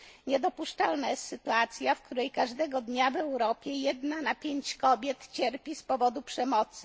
Niedopuszczalna jest sytuacja, w której każdego dnia w Europie jedna na pięć kobiet cierpi z powodu przemocy.